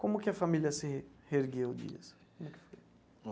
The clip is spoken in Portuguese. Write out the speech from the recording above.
Como que a família se reergueu disso, como é que foi?